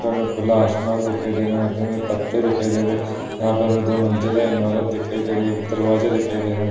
ऊपर में खुला आसमान दिखाई दे रहा है। यहाँ पे हमें पत्ते दिखाई दे रहें हैं। यहाँ पर हमें दो मंजिला इमारत दिखाई दे रही है दरवाजे दिखाई दे रहें हैं।